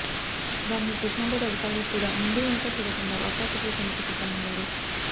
దానికి కృష్ణాబోర్డు అధికారులు కూడా ముందూ వెనుకా చూడకుండా వత్తాసు పలికేందుకు సిద్ధమయ్యారు